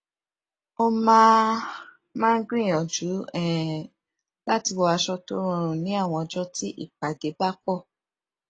ó máa máa ń gbíyànjú um láti wọ aṣọ tó rọrùn ní àwọn ọjọ tí ìpàdé bá pọ